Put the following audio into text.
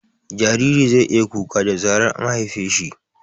Jariri zai iya kuka da zarar an haife shi